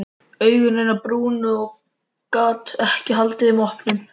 Augu hennar brunnu og hún gat ekki haldið þeim opnum.